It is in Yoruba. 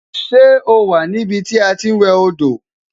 Ṣé o wà ní ibi tí a ti ń wẹ do?